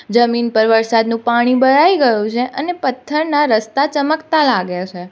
જમીન પર વરસાદનું પાણી ભરાઈ ગયું છે અને પથ્થરના રસ્તા ચમકતા લાગે છે.